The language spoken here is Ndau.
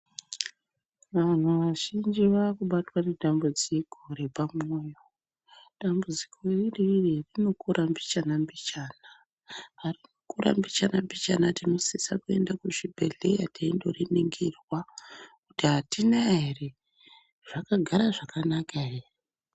Vanhu vazhinji vaakubatwa nedambudziko repamwoyo, dambudziko ri iriri rinokura mbichana-mbichana. Parinokura mbichana-mbichana tinosisa kuenda kuzvibhedhleya teinoriningirwa kuti hatina ere, zvakagara zvakanaka here.